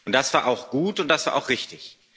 Das war auch gut, und das war auch richtig.